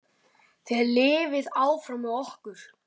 Edda Guðrún og Margrét Pála.